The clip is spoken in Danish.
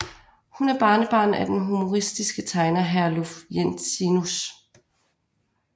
Hun er barnebarn af den humoristiske tegner Herluf Jensenius